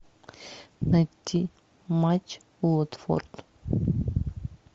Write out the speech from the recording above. найти матч уотфорд